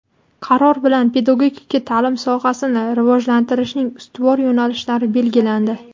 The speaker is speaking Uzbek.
Qaror bilan pedagogika taʼlim sohasini rivojlantirishning ustuvor yo‘nalishlari belgilandi.